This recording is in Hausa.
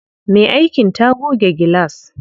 Me aikin ta goge gilas.